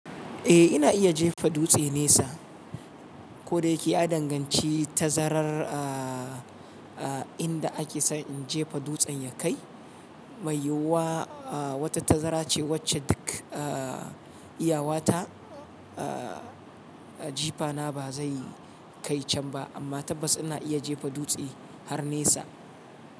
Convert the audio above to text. Eh ina iya jefa dutse nesa ko da yake a danganci tazarar a inda ake so in jefa dutsen ya kai. Mai yiwuwa wata tazara ce wacce duk iyawata jifana ba zai kai can ba amma tabbas ina iya jefa dutse har nesa.